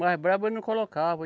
Mas brabo eu não colocava.